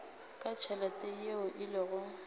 ka tšhelete yeo e lego